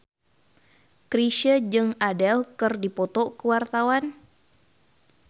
Chrisye jeung Adele keur dipoto ku wartawan